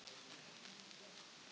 Þóra: Þannig að hættan er að líða hjá?